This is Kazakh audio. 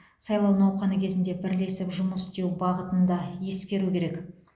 сайлау науқаны кезінде бірлесіп жұмыс істеу бағытын да ескеру керек